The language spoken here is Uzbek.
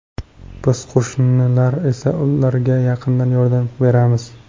Biz qo‘shnilar esa ularga yaqindan yordam beramiz.